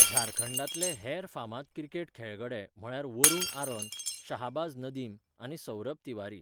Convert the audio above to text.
झारखंडांतले हेर फामाद क्रिकेट खेळगडे म्हळ्यार वरुण आरोन, शाहबाज नदीम, आनी सौरभ तिवारी.